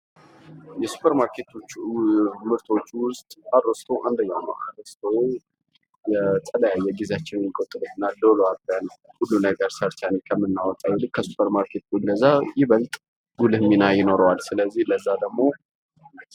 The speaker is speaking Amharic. የሱፐር ማርኬት ምርቶች ውስጥ አሮስቶ አንደኛው ነው። አሮስቶ የተለያየ ጊዜያቸውን የሚቆጥብ እና ዶሮ አርደን ሁሉን ነገር ሰርተን ከምናወጣው አንጻር ይልቅ ከ ሱፐር ማርኬት ቢንገዛ ይበልጥ ጉልህ ሚና ይኖረዋል ።ስለዚህ ለዛ ደግሞ